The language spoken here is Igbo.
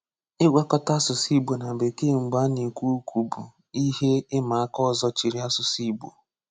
Ịgwakọta asụsụ Ị̀gbò na Bekee mgbe a na-ekwu okwu bụ ihe ịma aka ọzọ chere asụsụ Ị̀gbò.